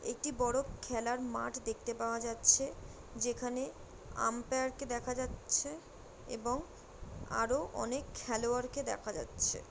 একটি বড় খেলার মাঠ দেখতে পাওয়া যাচ্ছে। যেখানে আম্পয়ার কে দেখা যাচ্ছে এবং আরো অনেক খেলোয়াড় কে দেখা যাচ্ছে।